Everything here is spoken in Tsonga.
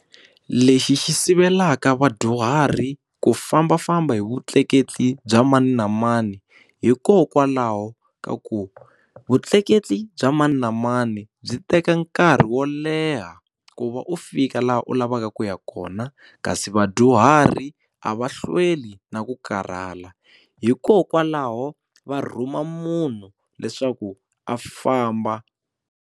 Lexi xi sivelaka vadyuhari ku fambafamba hi vutleketli bya mani na mani hikokwalaho ka ku vutleketli bya mani na mani byi teka nkarhi wo leha ku va u fika laha u lavaka ku ya kona kasi vadyuhari a va hlweli na ku karhala hikokwalaho va rhuma munhu leswaku a famba.